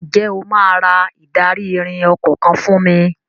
Ǹjẹ́ o máa ra ìdarí-ìrìn ọkọ̀ kan fún mi?